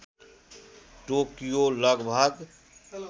Tokyo लगभग